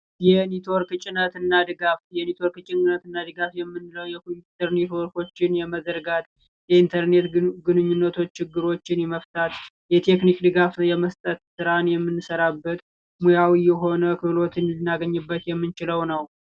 የኔትወርክ ጭነትና ድጋፍ፦ የኔትወርክ ጭነትና ድጋፊ የምንለው የኮምፒውተር ኔትወርኮችን መዘርጋቴ ኢንተርኔት ግንኙነት ችግሮችን የመፍታትና የቴክኒክ ድጋፍ የመስጠት የምንሰራበት ሙያዊ የሆነ ክህሎት ልናገኝበት የምንችለው ነው።